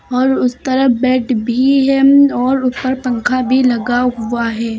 और उस तरफ बेड भी है उम्म और ऊपर पंखा भी लगा हुआ है।